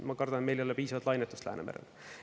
Ma kardan, et meil ei ole piisavat lainetust Läänemerel.